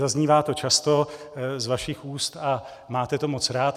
Zaznívá to často z vašich úst a máte to moc rád.